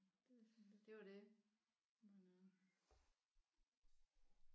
Det var det